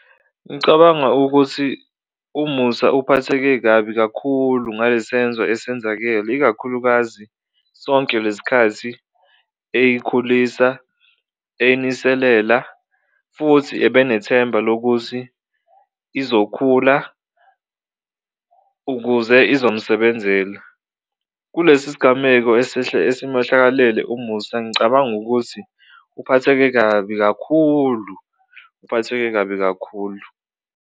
Ngicabanga ukuthi uMusa uphatheke kabi kakhulu ngale senzo esenzakele ikakhulukazi sonke lesikhathi eyikhulisa, eyiniselela futhi ebenethemba lokuthi izokhula ukuze izomsebenzela. Kulesi sigameko esimehlakalele uMusa ngicabangi ukuthi uphatheke kabi kakhulu, uphatheke kabi kakhulu.